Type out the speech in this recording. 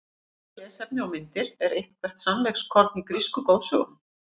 Frekara lesefni og myndir Er eitthvert sannleikskorn í grísku goðsögunum?